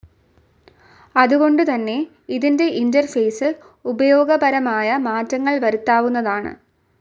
അതുകൊണ്ടു തന്നെ ഇതിൻ്റെ ഇൻ്റർഫേസിൽ ഉപയോഗപരമായ മാറ്റങ്ങൾ വരുത്താവുന്നതാണ്.